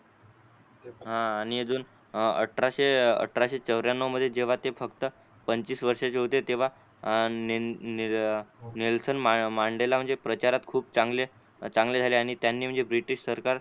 हा आणि अजून अठराशे अठराशे चौर्यनव मध्ये जेव्हा ते फक्त पंचवीस वर्षाचे होते तेव्हा अं नेल्सन मंडेला म्हणजे प्रचारात खूप चांगले चांगले झाले आणि त्यांनी म्हणजे ब्रिटिश सरकार